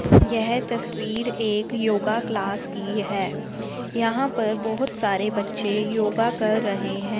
यह तस्वीर एक योगा क्लास की है यहां पर बहोत सारे बच्चे योगा कर रहे है।